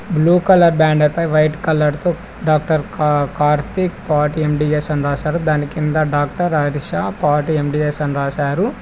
Blue colour band white colour తో doctor Karthik పటి M D S doctor Harshita పటి ఎం_డి_ఎస్ అని రాసారు.